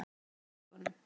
Loka bara augunum.